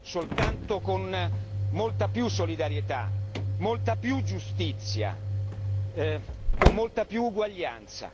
soltanto con molta più solidarietà, molta più giustizia, con molta più uguaglianza.